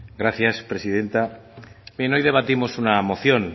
gracias presidenta hoy debatimos una moción